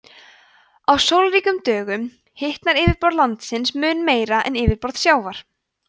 á sólríkum dögum hitnar yfirborð lands mun meira en yfirborð sjávar